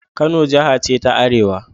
Kano Jiha ce ta Arewa